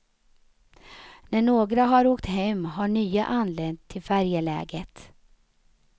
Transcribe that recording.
När några har åkt hem har nya anlänt till färjeläget.